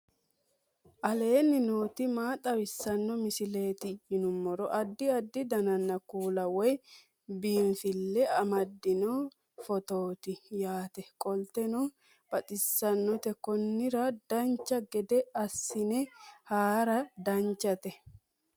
aleenni nooti maa xawisanno misileeti yinummoro addi addi dananna kuula woy biinsille amaddino footooti yaate qoltenno baxissannote konnira dancha gede assine haara danchate